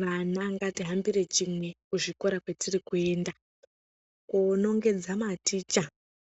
Vana ngatihambire chimwe kuzvikora kwetirikuenda, koonongedza maticha